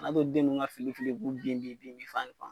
Ka na to den nunnu ka fili fili k'u den de ye binfan